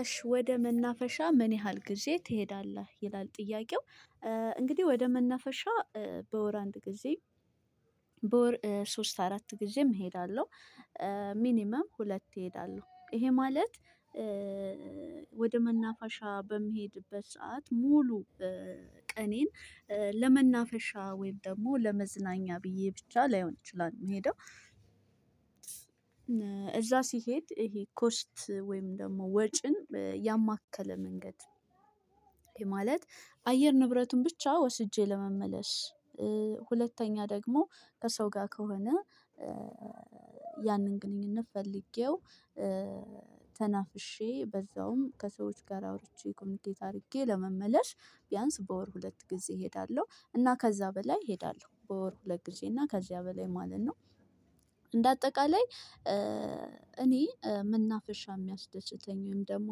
እሽ ወደ መናፈሻ ምን ያህል ጊዜ ትሄዳለህ ይላል ጥያቄው? እንግዲህ ወደ መናፈሻ በወር አንድ ጊዜ። በወር ሶስት አራት ጊዜም እሄዳለሁ። ሚኒመም ሁለት ሄዳለው ይሄ ማለት ወደ መናፋሻ በሚሄድበት ሰዓት ሙሉ ቀኔን ለመናፈሻ ወይም ደግሞ ለመዝናኛ ብዬ ብቻ ላይሆን እችላለሁ የሚሄደው። እዛ ሲሄድ ይሄ ኮስት ወይም ደግሞ ወጪን ያማከለ መንገድ። ይሄ ማለት አየር ንብረቱን ብቻ ወስጄ ለመመለስ። ሁለተኛ ደግሞ ከሰው ጋር ከሆነ። ያንን ግንኙነት ፈልጌው ተናፍሼ በዛውም ከሰዎች ጋር አውርቼ ኮሚኒኬት አድርጌ ለመመለሽ። ቢያንስ በወር ሁለት ጊዜ እሄዳለሁ እና ከዛ በላይ እሄዳለሁ በወር ሁለት ጊዜ እና ከዚያ በላይ ማለት ነው። እንደ አጠቃላይ እኔ መናፈርሻ የሚያስደስተኝ ወይም ደግሞ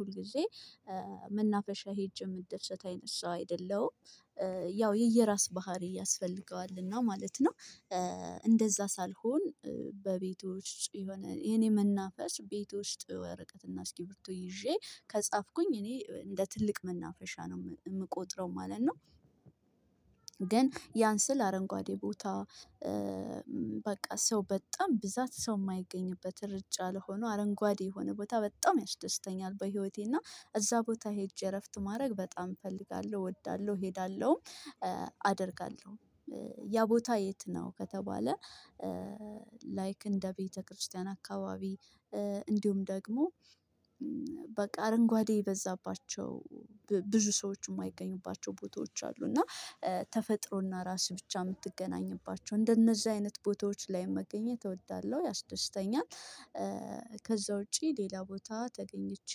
ሁልጊዜ መናፈሻ ሄጅ የምደሰት አይነሳው ሰው አይደለሁም። ያው የየራስ ባህሪ ያስፈልገዋል እና ማለት ነው። እንደዛ ሳልሆን በቤቶች የሆነ የኔ መናፈስ ቤት ውስጥ ወረቀትና እስኪ ብርቱ ይዤ ከጻፍኩኝ እኔ እንደ ትልቅ መናፈሻ ነው የምቆጥረው ማለት ነው። ግን ያን ስል አረንጓዴ ቦታ በቃ ሰው በጣም ብዛት ሰው የማይገኝበት እርጫ ሆኖ አረንጓዴ የሆነ ቦታ በጣም ያስደስተኛል። በህይወቴ እና እዛ ቦታ ሄጄ እረፍት ማድረግ በጣም እፈልጋለሁ እወዳለሁ እሄዳለሁም አደርጋለሁ። ያ ቦታ የት ነው ከተባለ? ላይክ እንደ ቤተክርስቲያን አካባቢ። እንዲሁም ደግሞ በቃ አረንጓዴ የበዛባቸው ብዙ ሰዎች የማይገኙባቸው ቦታዎች አሉ። እና ተፈጥሮና ራስ ብቻ የምትገናኝባቸው እንደነዚህ አይነት ቦታዎች ላይ መገኘት እወዳለሁ ያስደስተኛል። ከዛ ውጪ ሌላ ቦታ ተገኝቼ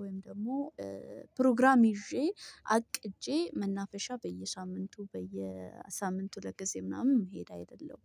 ወይም ደግሞ ፕሮግራም ይዤ አቅጄ መናፈሻ በየሳምንቱ በየሳምንቱ ሁለት ጊዜ ምናምን መሄድ አይደለሁም።